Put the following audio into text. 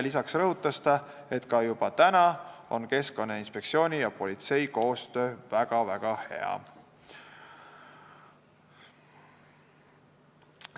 Lisaks rõhutas ta, et juba täna on Keskkonnainspektsiooni ja politsei koostöö väga-väga hea.